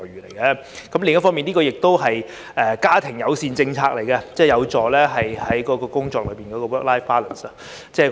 另一方面，這亦是一項家庭友善政策，有助工作與生活達至平衡，即 work-life balance。